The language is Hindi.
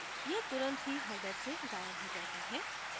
यह तुरंत ही header से गायब हो जाता है